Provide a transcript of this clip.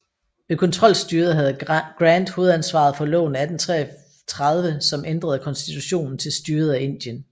Ved kontrolstyret havde Grant hovedansvaret for loven af 1833 som ændrede konstitutionen til styret af Indien